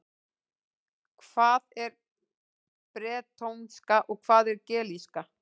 Hvað er bretónska og hvað er gelíska?